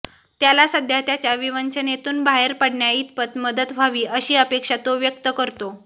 त्याला सध्या त्याच्या विवंचनेतून बाहेर पडण्याइतपत मदत व्हावी अशी अपेक्षा तो व्यक्त करतो